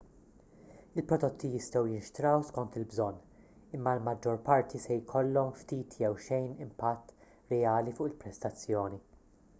il-prodotti jistgħu jinxtraw skont il-bżonn imma l-maġġor parti se jkollhom ftit jew xejn impatt reali fuq il-prestazzjoni